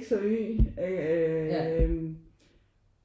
X og Y øh